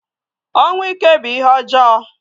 Ọnwụ ike bu ihé ọjọọ.